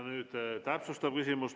Nüüd täpsustav küsimus.